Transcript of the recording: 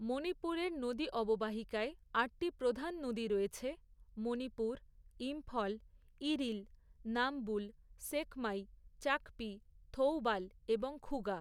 মণিপুরের নদী অববাহিকায়, আটটি প্রধান নদী রয়েছে, মণিপুর, ইম্ফল, ইরিল, নাম্বুল, সেকমাই, চাকপি, থৌবাল এবং খুগা।